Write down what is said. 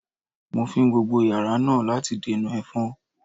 Mo fín gbogbo yàrá náà láti dènà ẹ̀fọn